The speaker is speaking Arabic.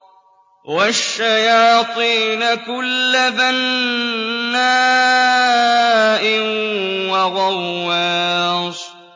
وَالشَّيَاطِينَ كُلَّ بَنَّاءٍ وَغَوَّاصٍ